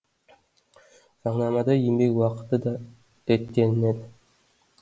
заңнамада еңбек уақыты да реттелінеді